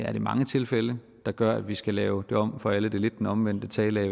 er det mange tilfælde der gør at vi skal lave det om for alle det er lidt den omvendte tale af